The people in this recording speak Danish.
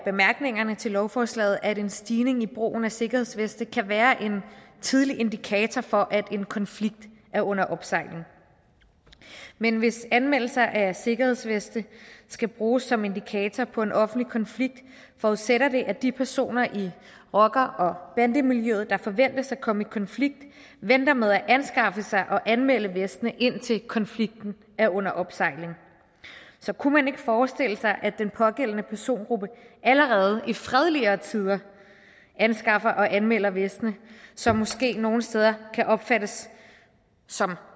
bemærkningerne til lovforslaget at en stigning i brugen af sikkerhedsveste kan være en tidlig indikator for at en konflikt er under opsejling men hvis anmeldelser af sikkerhedsveste skal bruges som indikator på en offentlig konflikt forudsætter det at de personer i rocker og bandemiljøet der forventes at komme i konflikt venter med at anskaffe sig og anmelde vestene indtil konflikten er under opsejling så kunne man ikke forestille sig at den pågældende persongruppe allerede i fredeligere tider anskaffer og anmelder vestene som måske nogle steder kan opfattes som